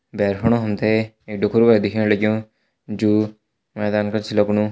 भैर फणु हम ते एक ढोखरू वे दिखेण लग्युं जू मैदान कर च लगणु।